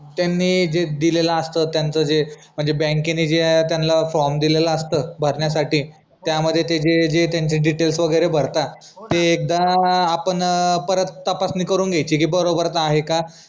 त्यानी जे दिलेल असत त्याचं जे बँकेने त्या फॉर्म दिलेला असत भरण्यासाठी त्यामध्ये तेजे त्याचे डिटेल्स वगैरे भरतात ते एकदा आपण परत तपासणी करून घायची कि बरोबर आहे का